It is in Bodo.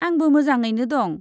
आंबो मोजाङैनो दं।